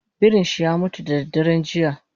Birinshi yamutu dadaren jiya